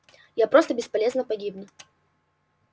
я просто бесполезно погибну